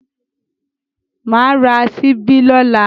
Mà ra ṣíbí lọ́la.